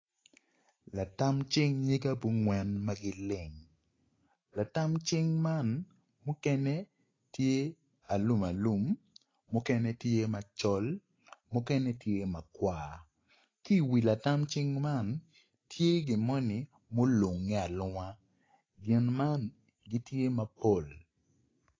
Latam cing nyige abongwen ma gileng latam cing man mukene tye alumalum mukene tye macol mukene tye makwar ki iwi latam cing man tye gin moni mulunge alunga gin man gitye mapol.